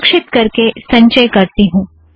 सुरक्षीत करके संचय करती हूँ